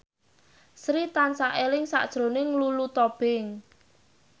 Sri tansah eling sakjroning Lulu Tobing